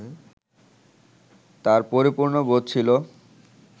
তাঁর পরিপূর্ণ বোধ ছিল